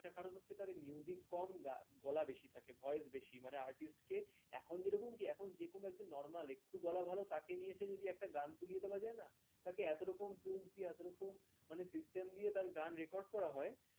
একটা কারণ হচ্ছে তার কম গলা বেশি থাকে voice বেশি, মানে artist কে এখন যেরকম কি এখন যেকোনো একজন normal একটু গলা ভালো তাকে নিয়ে এসে যদি একটা গান তুলিয়ে দেওয়া যায় না তাকে এত রকম tools দিয়ে এত রকম মানে system দিয়ে তার গান record করা হয়